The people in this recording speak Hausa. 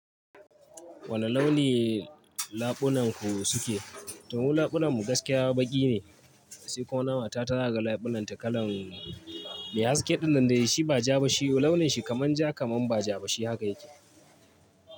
Wane launi laɓunan ku suke? To mu laɓunanmu gaskiya baƙi ne, sai kuma na mata ta ga laɓunanta kalan mai haske dinnan dai shi ba ja ba shi launin shi kaman ja kaman ba ja ba shi haka yake.